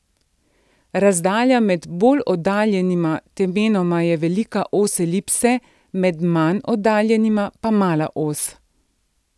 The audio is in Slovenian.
Razdalja med bolj oddaljenima temenoma je velika os elipse, med manj oddaljenima pa mala os.